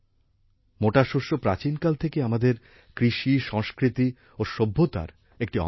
মোটা শস্য প্রাচীনকাল থেকেই আমাদের কৃষি সংস্কৃতি ও সভ্যতার একটি অংশ